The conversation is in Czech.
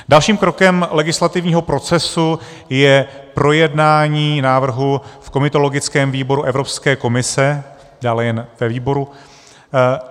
Další krokem legislativního procesu je projednání návrhu v komitologickém výboru Evropské komise, dále jen ve výboru.